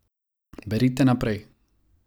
Berite naprej ...